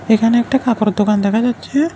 এখানে একটা কাপড়ের দোকান দেখা যাচ্ছে।